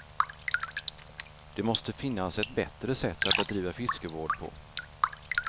Det måste finns ett bättre sätt att bedriva fiskevård på.